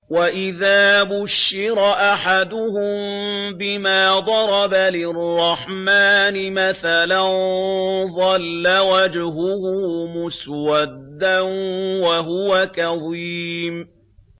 وَإِذَا بُشِّرَ أَحَدُهُم بِمَا ضَرَبَ لِلرَّحْمَٰنِ مَثَلًا ظَلَّ وَجْهُهُ مُسْوَدًّا وَهُوَ كَظِيمٌ